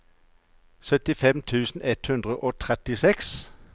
syttisju tusen ett hundre og trettiseks